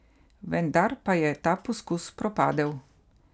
Vendar pa je ta poskus propadel.